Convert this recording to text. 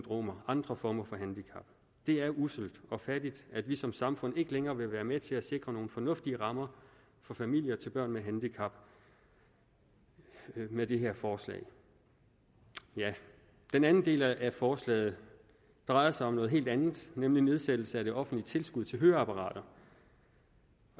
og andre former for handicap det er usselt og fattigt at vi som samfund ikke længere vil være med til at sikre nogle fornuftige rammer for familier til børn med handicap med det her forslag den anden del af forslaget drejer sig om noget helt andet nemlig nedsættelse af det offentlige tilskud til høreapparater